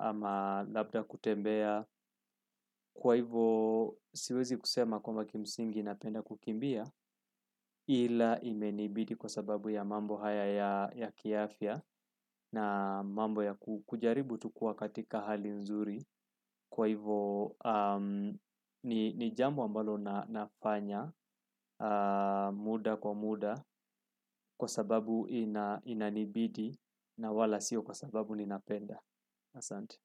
ama labda kutembea kwa hivo siwezi kusema kwamba kimsingi napenda kukimbia ila imenibidi kwa sababu ya mambo haya ya kiafya na mambo ya kujaribu tukuwa katika hali nzuri kwa hivo nijambo ambalo nafanya muda kwa muda kwa sababu ina inanibidi na wala siyo kwa sababu ninapenda Asante.